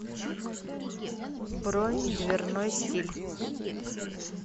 бронь дверной стиль